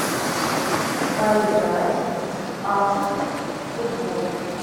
поиграть в апп футбол